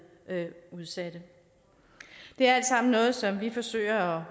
udsatte det er alt sammen noget som vi forsøger